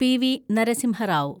PV. Narasimha Rao